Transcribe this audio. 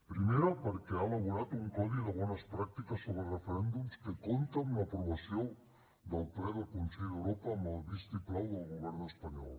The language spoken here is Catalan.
primer perquè ha elaborat un codi de bones pràctiques sobre referèndums que compta amb l’aprovació del ple del consell d’europa amb el vistiplau del govern espanyol